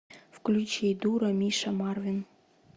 включи дура миша марвин